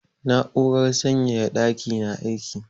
Na'urar sanyaya ɗaki na aiki.